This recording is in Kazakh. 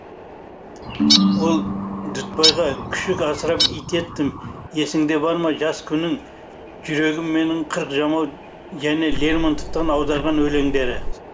ол дүтбайға күшік асырап ит еттім есіңде бар ма жас күнің жүрегім менің қырық жамау және лермонтовтан аударған өлеңдері